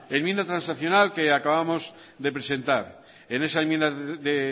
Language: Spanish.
enmienda transaccional que acabamos de presentar en ese enmienda de